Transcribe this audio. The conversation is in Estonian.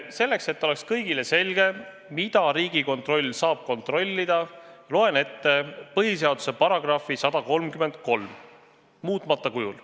Selleks, et oleks kõigile selge, mida Riigikontroll saab kontrollida, loen ette põhiseaduse § 133 muutmata kujul.